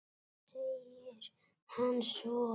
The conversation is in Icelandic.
segir hann svo.